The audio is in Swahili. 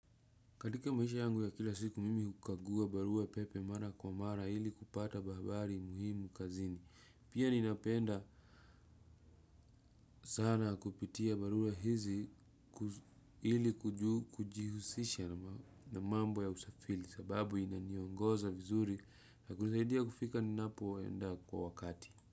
Katika maisha yangu ya kila siku mimi hukagua barua pepe mara kwa mara ili kupata habari muhimu kazini. Pia ninapenda sana kupitia barua hizi ili kujihusisha na mambo ya usafiri sababu inaniongoza vizuri na kunisaidia kufika ninapoenda kwa wakati.